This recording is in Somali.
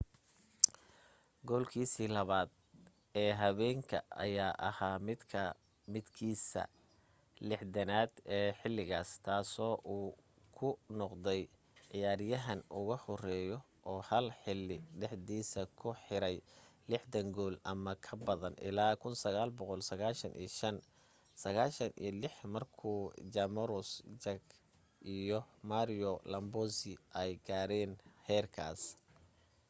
goolkiisa labaad ee habeenka ayaa ahaa midkiisa 60aad ee xiligaas taasoo uu ku noqday ciyaaryahanka ugu horeeyo oo hal xili dhexdiisa ku xiro 60 gool ama ka badan ilaa 1995-96 markuu jaromir jagr iyo mario lemieux ay gaareen heerkaas